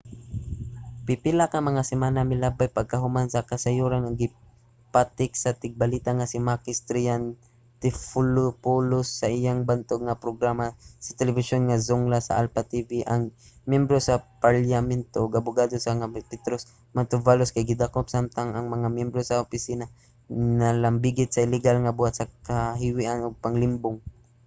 pipila ka mga semana ang milabay pagkahuman sa kasayuran nga gipatik sa tigbalita nga si makis triantafylopoulos sa iyang bantog nga programa sa telebisyon nga zoungla sa alpha tv ang miyembro sa parlyamento ug abogado nga si petros mantouvalos kay gidakop samtang ang mga miyembro sa iyang opisina nalambigit sa illegal nga buhat sa kahiwian ug panglimbong